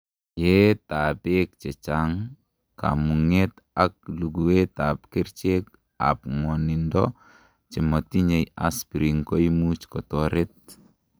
yeet ab beek chechang, komungeta ak luguet ab kerichek ab ngwonindo chemotinyei aspirin koimuch kotoret